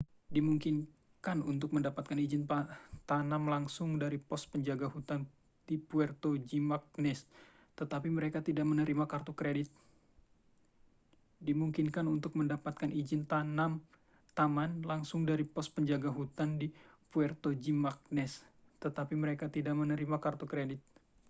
dimungkinkan untuk mendapatkan izin taman langsung dari pos penjaga hutan di puerto jimã©nez tetapi mereka tidak menerima kartu kredit